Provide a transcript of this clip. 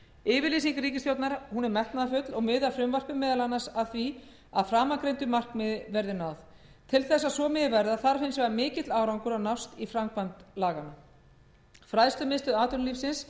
yfirlýsing ríkisstjórnar er metnaðarfull og miðar frumvarpið meðal annars að því að framangreindu markmiði verði náð til þess að svo megi verða þarf hins vegar mikill árangur að nást í framkvæmd laganna fræðslumiðstöð atvinnulífsins